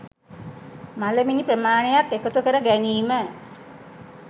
මළමිනි ප්‍රමාණයක් එකතු කර ගැනීම